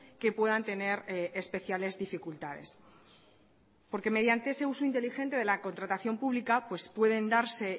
que puedan tener especiales dificultades porque mediante ese uso inteligente de la contratación pública pues pueden darse